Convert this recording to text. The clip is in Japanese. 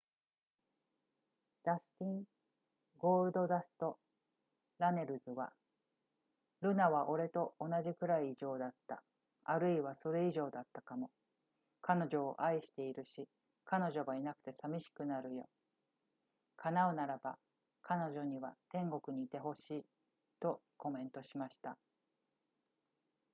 ダスティン・「ゴールドダスト」・ラネルズは、「ルナは俺と同じくらい異常だったあるいはそれ以上だったかも...彼女を愛しているし、彼女がいなくて寂しくなるよ叶うならば、彼女には天国にいてほしい」とコメントしました